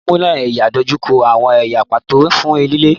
Ìwẹ̀nùmọ́ ẹ̀yà dojú kọ àwọn ẹ̀yà pàtó fún lílé.